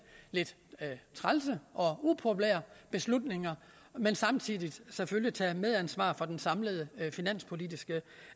lidt trælse og upopulære beslutninger men samtidig selvfølgelig tage medansvar for den samlede finanspolitiske